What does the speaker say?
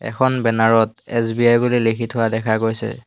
এখন বেনাৰ ত এছ_বি_আই বুলি লিখি থোৱা দেখা গৈছে।